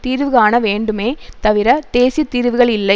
தீர்வுகாண வேண்டுமே தவிர தேசிய தீர்வுகள் இல்லை